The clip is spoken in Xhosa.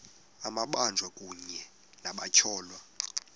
amabanjwa kunye nabatyholwa